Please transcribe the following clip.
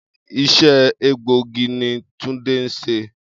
Isé̩ egbòogi ni Túndé ń s̩e